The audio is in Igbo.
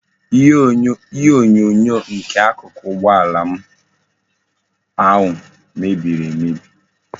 Ihe onyonyo nke akuku ugbo ala m ahu mebiri emebi